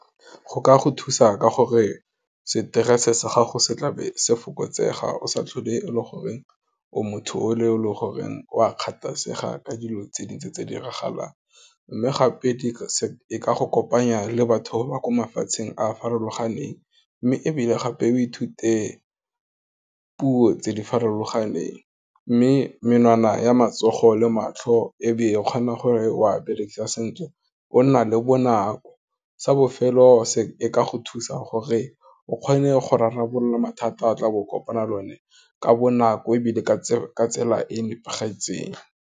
Go ka go thusa ka gore stress-e sa gago se tla be se fokotsega, o sa tlhole e le goreng, o motho o le, o e leng goreng, o a kgathasega ka dilo tse dintsi tse di diragalang, mme gape di ka go kopanya le batho ba ko mafatsheng a a farologaneng. Mme ebile gape, o ithute puo tse di farologaneng, mme menwana ya matsogo le matlho, ebe e kgona gore wa bereka sentle, ona ka bonako, sa bofelo e ka go thusa gore, o kgone go rarabolola mathata a tlabo kopana le one, ka bonako ebile ka tsela e nepagetseng.